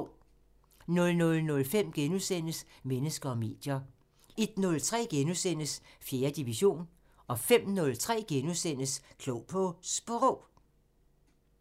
00:05: Mennesker og medier * 01:03: 4. division * 05:03: Klog på Sprog *